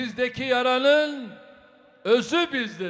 Sizdəki yaranın özü bizdədir.